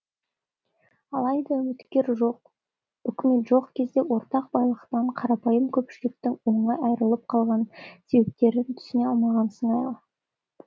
алайда үкімет жоқ кезде ортақ байлықтан қарапайым көпшіліктің оңай айырылып қалған себептерін түсіне алмаған